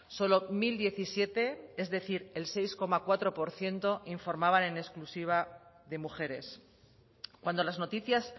solo mil diecisiete es decir el seis coma cuatro por ciento informaban en exclusiva de mujeres cuando las noticias